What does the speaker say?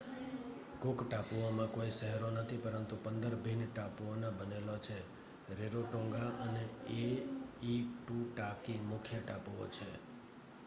cook ટાપુઓમાં કોઈ શહેરો નથી પરંતુ 15 ભિન્ન ટાપુઓના બનેલા છે રેરોટોંગા અને એઇટુટાકી મુખ્ય ટાપુઓ છે